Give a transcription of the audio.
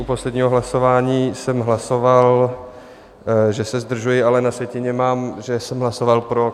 U posledního hlasování jsem hlasoval, že se zdržuji, ale na sjetině mám, že jsem hlasoval pro.